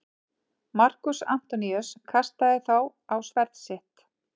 Markús Antoníus kastaði sér þá á sverð sitt.